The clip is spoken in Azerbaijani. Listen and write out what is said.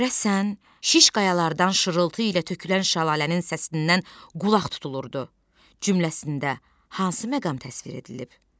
Görəsən, şiş qayalardan şırıltı ilə tökülən şəlalənin səsindən qulaq tutulurdu cümləsində hansı məqam təsvir edilib?